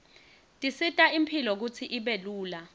tisita imphilo kutsi ibe lula